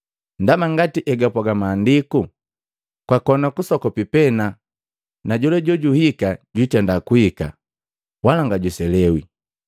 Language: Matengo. Ndaba ngati egapwaga Maandiku: “Kwakona kasokopi pena, na jola jojuhika, jwitenda kuhika, wala ngajwiselewi.